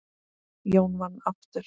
Jón vann aftur.